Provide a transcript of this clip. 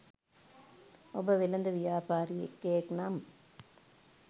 ඔබ වෙළෙඳ ව්‍යාපාරිකයෙක් නම්